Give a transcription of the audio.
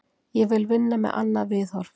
Ég vil vinna með annað viðhorf.